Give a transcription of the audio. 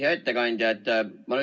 Hea ettekandja!